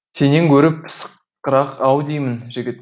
сенен гөрі пысықырақ ау деймін жігіт